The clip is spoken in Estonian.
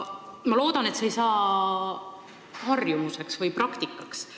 Ma loodan, et see ei saa harjumuseks või praktikaks.